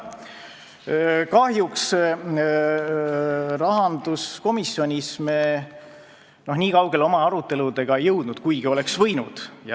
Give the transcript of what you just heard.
Kahjuks me rahanduskomisjonis oma aruteludega nii kaugele ei jõudnud, kuigi oleks võinud.